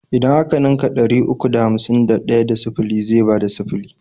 Idan a ka ninka ɗari uku da hamsin da ɗaya da sifili zai bada sifili.